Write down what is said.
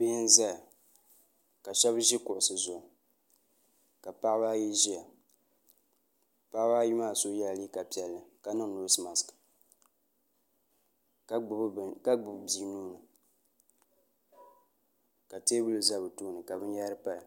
bihi n ʒɛya ka shab ʒi kuɣusi zuɣu ka paɣaba ayi ʒiya paɣaba ayi maa so yɛla liiga piɛlli ka niŋ noos mask ka gbubi bia nuuni ka teebuli ʒɛ bi tooni ka binyahari paya